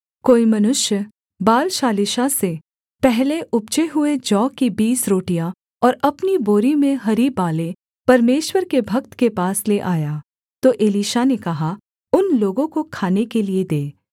कोई मनुष्य बालशालीशा से पहले उपजे हुए जौ की बीस रोटियाँ और अपनी बोरी में हरी बालें परमेश्वर के भक्त के पास ले आया तो एलीशा ने कहा उन लोगों को खाने के लिये दे